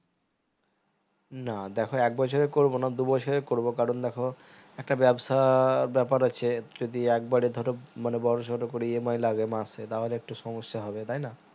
না দেখো এক বছরের করবো না দুবছরের করবো কারণ দেখো একটা ব্যবসা বেপার আছে যদি এক বারে ধরো মানে ব্যবসা টা করি EMI লাগে মাসে তাহলে একটু সমস্যা হবে তাই না